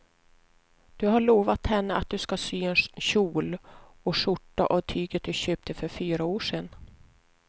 Du har lovat henne att du ska sy en kjol och skjorta av tyget du köpte för fyra år sedan.